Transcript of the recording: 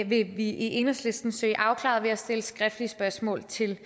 vi i enhedslisten søge afklaret ved at stille skriftlige spørgsmål til